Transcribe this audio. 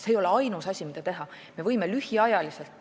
See ei ole ainus asi, mida teha.